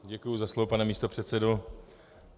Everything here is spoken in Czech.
Děkuji za slovo, pane místopředsedo.